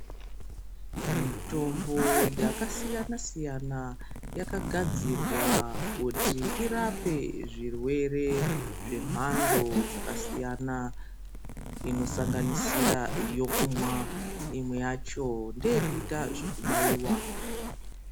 Mitombo yaka siyana siyana yaka gadzirwa kuti irape zvi rwere zve mhando dzaka siyana ino sanganisira yokumwa imwe yacho ndeye kuita zveku baiwa.